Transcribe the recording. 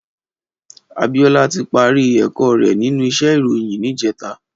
Abiola ti pàri èkò rè ninú íṣè iróyin nijètá